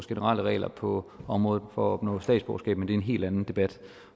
generelle regler på området for at opnå statsborgerskab men det er en helt anden debat